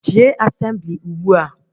Jee Asemblị ugbua!